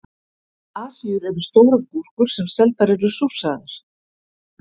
Asíur eru stórar gúrkur sem seldar eru súrsaðar.